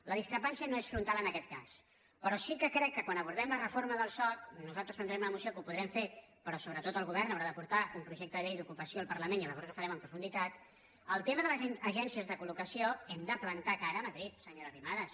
la discrepància no és fron·tal en aquest cas però sí que crec que quan abordem la reforma del soc nosaltres presentarem una mo·ció que ho podrem fer però sobretot el govern haurà d’aportar un projecte de llei d’ocupació al parlament i llavors ho farem en profunditat en el tema de les agències de col·locació hem de plantar cara a ma·drid senyora arrimadas